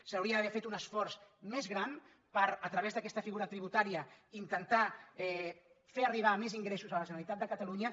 s’hauria d’haver fet un esforç més gran per a través d’aquesta figura tributària intentar fer arribar més ingressos a la generalitat de catalunya